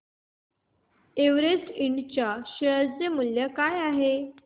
Everest Ind च्या share चे मूल्य काय आहे